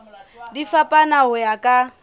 di fapana ho ya ka